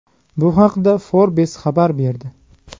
Bu haqda Forbes xabar berdi.